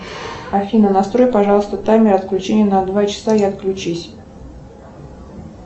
афина настрой пожалуйста таймер отключения на два часа и отключись